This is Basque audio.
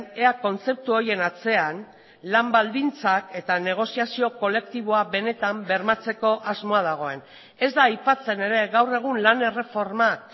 ea kontzeptu horien atzean lan baldintzak eta negoziazio kolektiboa benetan bermatzeko asmoa dagoen ez da aipatzen ere gaur egun lan erreformak